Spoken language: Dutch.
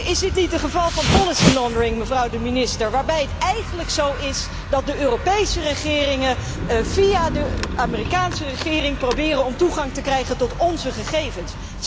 Is dit niet een geval van mevrouw de minister, waarin het eigenlijk zo is dat de Europese regeringen via de Amerikaanse regering proberen om toegang te krijgen tot onze gegevens.